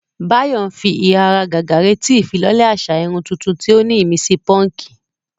Báyọ̀ ń fi ìháragàgà retí ìfilọ́lẹ̀ àṣà irun tuntun tí ó ní ìmísí púnkì.